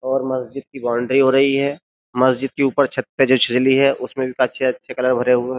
और मस्जिद की बाउंड्री हो रही है मस्जिद के ऊपर छत पे जो छजली है उसमें भी अच्छे अच्छे कलर भरे हुए हैं।